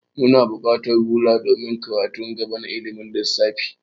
Muna bukatar rula domin karatun gaba na ilimin lissafi.